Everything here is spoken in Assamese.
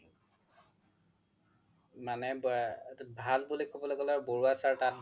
মানে ভাল বুলি ক'বলৈ গলে আৰু বাৰুৱা sir তাত ভাল